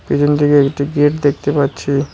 এখান থেকে একটি গেট দেখতে পাচ্ছি।